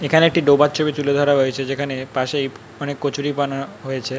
এখানে একটি ডোবার ছবি তুলে ধরা হয়েছে যেখানে পাশেই অনেক কচুরিপানা হয়েছে।